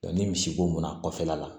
ni misi bo mun na kɔfɛla la